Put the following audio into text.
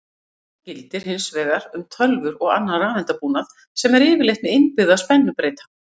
Annað gildir hins vegar um tölvur og annan rafeindabúnað sem er yfirleitt með innbyggða spennubreyta.